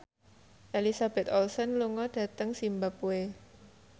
Elizabeth Olsen lunga dhateng zimbabwe